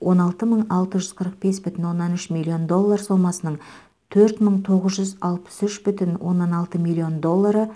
он алты мың алты жүз қырық бес бүтін оннан үш миллион доллар сомасының төрт мың тоғыз жүз алпыс үш бүтін оннан алты миллион доллары